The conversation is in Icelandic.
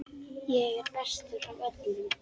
Ég er bestur af öllum!